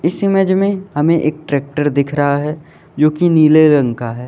इस इमेज में हमे एक टैक्टर दिख रहा है जो कि नीले रंग का है।